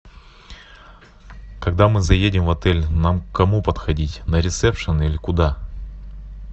когда мы заедем в отель нам к кому подходить на ресепшн или куда